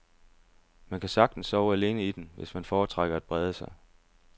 Man kan sagtens sove alene i den, hvis man foretrækker at brede sig.